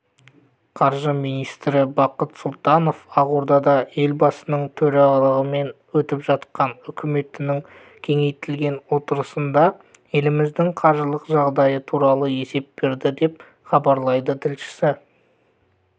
қаржы министрі бақыт сұлтанов ақордада елбасының төрағалығымен өтіп жатқан үкіметінің кеңейтілген отырысында еліміздің қаржылық жағдайы туралы есеп берді деп хабарлайды тілшісі